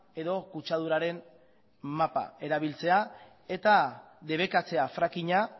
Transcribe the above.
edo kutsaduraren mapa erabiltzea eta debekatzea frackinga